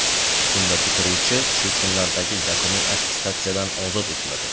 Bunda bitiruvchi shu kunlardagi yakuniy attestatsiyadan ozod etiladi.